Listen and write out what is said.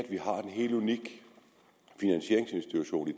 helt unik finansieringsinstitution i